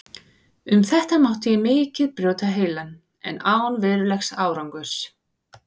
Um þetta mátti ég mikið brjóta heilann, en án verulegs árangurs.